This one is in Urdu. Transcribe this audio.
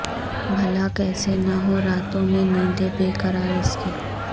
بھلا کیسے نہ ہو راتوں میں نیندیں بے قرار اس کی